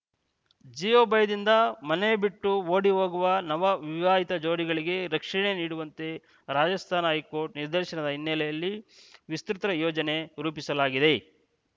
ಜೀವ ಭಯದಿಂದ ಮನೆ ಬಿಟ್ಟು ಓಡಿ ಹೋಗುವ ನವ ವಿವಾಹಿತ ಜೋಡಿಗಳಿಗೆ ರಕ್ಷಣೆ ನೀಡುವಂತೆ ರಾಜಸ್ಥಾನ ಹೈಕೋರ್ಟ್‌ ನಿರ್ದೇಶನದ ಹಿನ್ನೆಲೆಯಲ್ಲಿ ವಿಸ್ತೃತ ಯೋಜನೆ ರೂಪಿಸಲಾಗಿದೆ